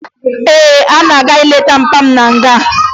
Ee, ana m aga ileta nna m na nga